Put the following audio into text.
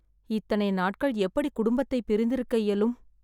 இத்தனை நாட்கள் எப்படி குடும்பத்தைப் பிரிந்து இருக்க இயலும்